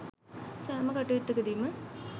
සෑම කටයුත්තකදීම